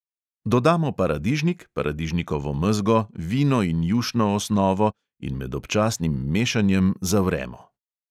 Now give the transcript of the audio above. Dodamo paradižnik, paradižnikovo mezgo, vino in jušno osnovo in med občasnim mešanjem zavremo.